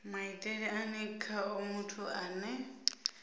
maitele ane khao muthu ane